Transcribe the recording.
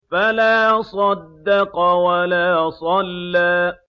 فَلَا صَدَّقَ وَلَا صَلَّىٰ